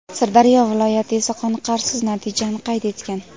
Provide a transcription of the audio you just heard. Sirdaryo viloyati esa qoniqarsiz natijani qayd etgan.